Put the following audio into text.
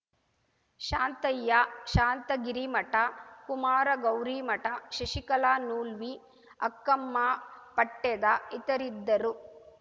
Shantayya Shantagirimath Kumar Gaurimath Shashikala Noolvi Akkamma Patteda ಇತರಿದ್ದರು